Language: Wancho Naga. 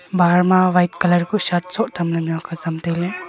bahar ma white colour kuh shirt soh thamley mihak azam tailey.